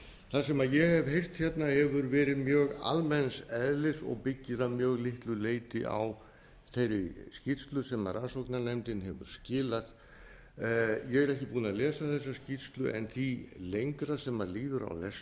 það sem ég hef heyrt hérna hefur verið mjög almenns eðlis og byggir að mjög litlu leyti á þeirri skýrslu sem rannsóknarnefndin hefur skilað ég er ekki búinn að lesa þessa skýrslu en því lengra sem líður á